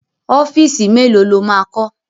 Ọ́fíìsì mélòó lo máa kọ́?